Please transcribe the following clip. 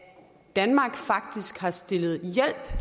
danmark faktisk har stillet hjælp